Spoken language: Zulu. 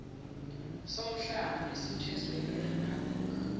somhlaba esithweswe iriphablikhi